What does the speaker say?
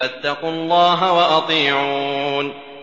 فَاتَّقُوا اللَّهَ وَأَطِيعُونِ